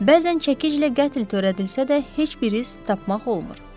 Bəzən çəkilə qətl törədilsə də, heç bir iz tapmaq olmur.